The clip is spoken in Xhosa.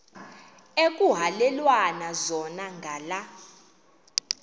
ekuhhalelwana zona ngala